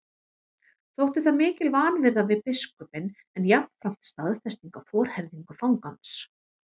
Þótti það mikil vanvirða við biskupinn en jafnframt staðfesting á forherðingu fangans.